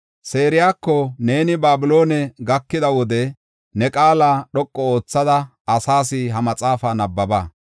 Sarayako, “Neeni Babiloone gakida wode ne qaala dhoqu oothada asaas ha maxaafa nabbaba.